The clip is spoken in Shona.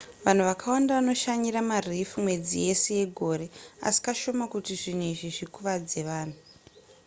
vanhu vakawanda vanoshanyira mareef mwedzi yese yegore asi kashoma kuti zvinhu izvi zvikuvadze vanhu